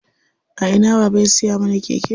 A ina baba ya siya mana keke?